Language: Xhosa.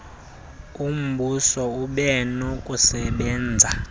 umbuso ube nokusebenza